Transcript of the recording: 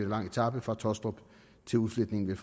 lang etape fra tåstrup til udfletningen ved